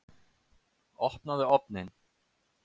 Opnaðu ofninn!